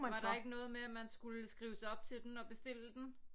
Var der ikke noget med at man skulle skrive sig op til den og bestille den